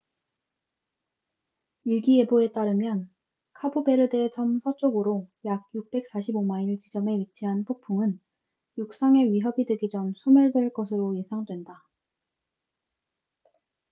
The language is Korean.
일기예보에 따르면 카보베르데 섬 서쪽으로 약 645마일1040 킬로미터 지점에 위치한 폭풍은 육상에 위협이 되기 전 소멸될 것으로 예상된다